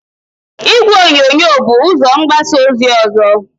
Igwe onyonyo bu ụzó mgbasa ozi ọzọ.